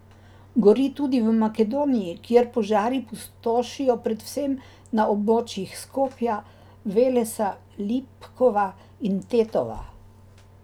Gori tudi v Makedoniji, kjer požari pustošijo predvsem na območjih Skopja, Velesa, Lipkova in Tetova.